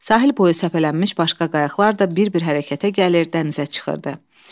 Sahil boyu səpələnmiş başqa qayıqlar da bir-bir hərəkətə gəlir, dənizə çıxırdı.